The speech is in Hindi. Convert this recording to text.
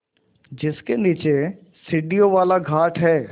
जिसके नीचे सीढ़ियों वाला घाट है